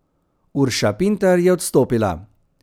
Urša Pintar je odstopila.